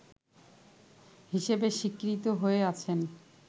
হিসেবে স্বীকৃত হয়ে আছেন